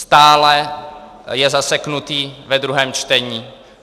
Stále je zaseknutý ve druhém čtení.